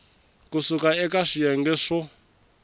ku suka eka swiyenge swo